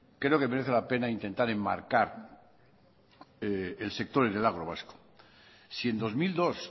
creo que merece la pena intentar enmarcar el sector en el agro vasco si en dos mil dos